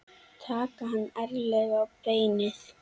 Taka hann ærlega á beinið.